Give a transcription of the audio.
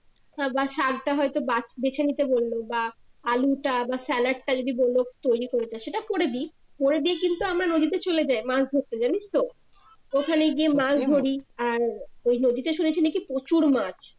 তারপর শাকটা হয়তো বাচ বেচে নিতে বললো বা আলুটা বা সালাদ যদি বললো তৈরি করতে সেটা করে দেই করে দিয়ে কিন্তু আমরা নদীতে চলে যাই মাছ ধরতে জানিস তো ওখানে গিয়ে মাছ ধরি আর ওই নদীতে শুনেছি নাকি প্রচুর মাছ